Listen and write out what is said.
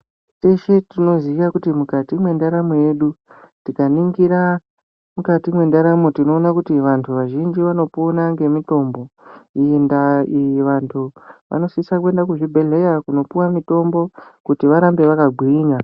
Teshe tinoziya kuti mukati me ndaramo yedu tika ningira mukati me ndaramo tinoona kuti vantu vazhinji vano pona nge mitombo iyi ndaa iyi vantu vano sisa kuenda kuzvi bhedhleya kuno puwa mutombo kuti varambe vaka gwinya.